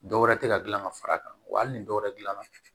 Dɔwɛrɛ tɛ ka gilan ka far'a kan wa hali ni dɔwɛrɛ gilanna